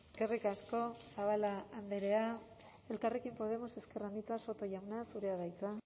eskerrik asko zabala andrea elkarrekin podemos ezker anitza soto jauna zurea da hitza